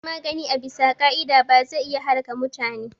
Shan magani ba abisa ka'ida ba zai iya halaka mutune